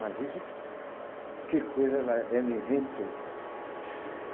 Mas viste que que coisa ela ela inventou.